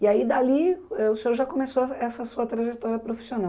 E aí, dali, eh o senhor já começou essa essa sua trajetória profissional.